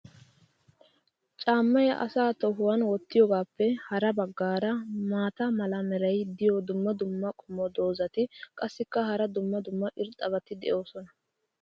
caamay asaa tohuwan wottiyoogaappe ha bagaara maata mala meray diyo dumma dumma qommo dozzati qassikka hara dumma dumma irxxabati doosona.